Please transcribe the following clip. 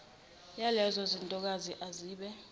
yalezo zintokazi ezabe